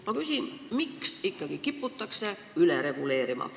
Ma küsin, miks ikkagi kiputakse üle reguleerima.